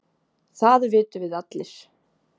Það vitum við allir